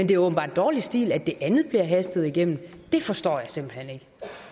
det åbenbart er dårlig stil at det andet bliver hastet igennem det forstår jeg simpelt hen ikke